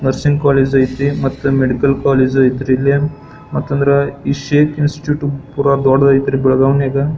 Nursing college ಐತಿ ಮತ್ತ medical college ಐತ್ರಿ ಇಲ್ಲಿ ಮತ ಅಂದ್ರ ಶೇಖ್ ಇನ್ಸ್ಟಿಟ್ಯೂಟ್ ಪುರ ದೊಡ್ಡದೈತ್ರಿ ಈ ಬೆಲಗಾವ್ ನ್ಯಾಗ.